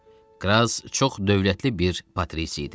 Kras çox dövlətli bir Patrisi idi.